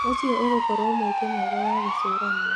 ũcio ũgũkorwo mweke mwega wa gũcũrania.